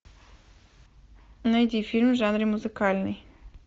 найди фильм в жанре музыкальный